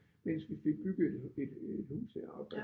Mens vi fik bygget et et et hus heroppe